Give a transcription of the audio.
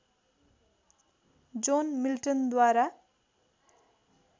John मिल्टनद्वारा